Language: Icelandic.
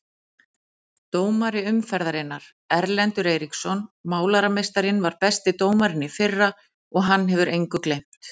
Dómari umferðarinnar: Erlendur Eiríksson Málarameistarinn var besti dómarinn í fyrra og hann hefur engu gleymt.